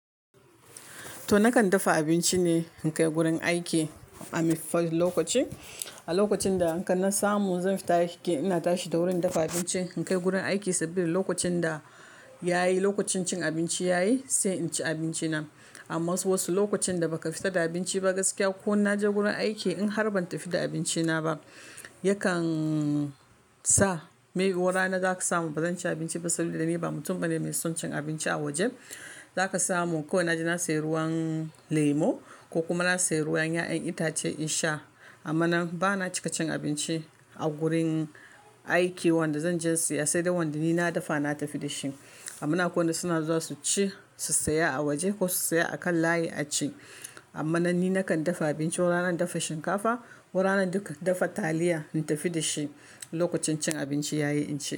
To nakan dafa abinci ne in kai gurin aiki a lokaci. A lokacin da in kan na samu zan fita aiki ina tashi da wuri in dafa abinci in kai gurin aiki sabida lokacin da yayi, lokacin cin abinci yayi sai in ci abinci na. Amma wasu lokacin da baka fita da abinci ba gaskiya ko in naje gurin aiki in har ban tafi da abinci na ba yakan sa me yuwa ranan zaka samu bazan ci abinci ba saboda ni ba mutum bane mai son cin abinci a waje. Zaka samu kawai na je na saya ruwan lemo ko kuma na sayi ruwan 'ya'yan itace in sha. Amma nan bana cika cin abinci a gurin aiki wanda zan je siya sai da wanda ni na dafa na tafi da shi. Amma na suna zuwa su ci su siya a waje ko su siya a kan layi a ci. Amma nan ni nakan dafa abinci wani rana in dafa shinkafa wani rana duka dafa taliya in tafi da shi lokacin cin abinci yayi in ci.